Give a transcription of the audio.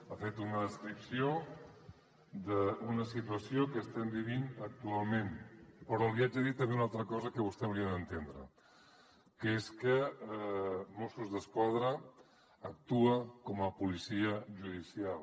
ha fet una descripció d’una situació que estem vivint actualment però li haig de dir també una altra cosa que vostè hauria d’entendre que és que mossos d’esquadra actua com a policia judicial